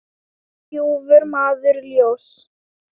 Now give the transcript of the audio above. ljúfur maður ljóss.